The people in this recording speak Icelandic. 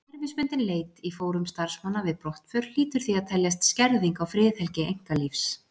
Kerfisbundin leit í fórum starfsmanna við brottför hlýtur því að teljast skerðing á friðhelgi einkalífs.